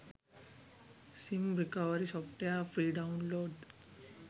sim recovery software free download